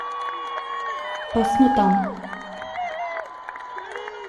Pa smo tam!